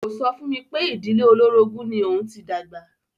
Kò sọ fún mi pé ìdílé olórogún ni òun ti dàgbà.